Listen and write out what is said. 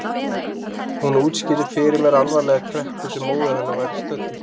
Hún útskýrði fyrir mér alvarlega kreppu sem móðir hennar væri stödd í.